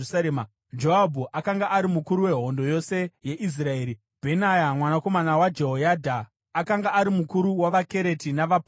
Joabhu akanga ari mukuru wehondo yose yeIsraeri; Bhenaya mwanakomana waJehoyadha akanga ari mukuru wavaKereti navaPareti;